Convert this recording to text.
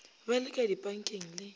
ba le ka dipankeng le